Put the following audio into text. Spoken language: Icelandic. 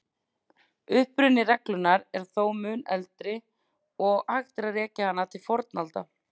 Uppruni reglunnar er þó mun eldri og hægt er að rekja hana til fornaldar.